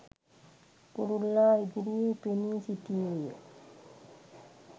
කුරුල්ලා ඉදිරියේ පෙනී සිටියේය